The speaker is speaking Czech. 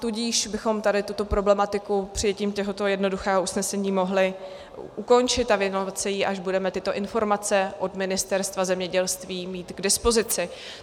Tudíž bychom tady tuto problematiku přijetím tohoto jednoduchého usnesení mohli ukončit a věnovat se jí, až budeme tyto informace od Ministerstva zemědělství mít k dispozici.